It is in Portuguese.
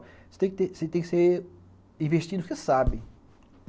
Você tem que ser investido porque sabe.